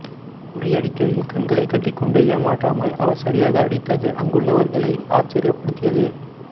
உரியடிக்கையில் கண்களைக் கட்டிக்கொண்டு ஏமாற்றாமல் அவர் சரியாக அடித்தது அங்குள்ளவர்களை ஆச்சர்யப்படுத்தியது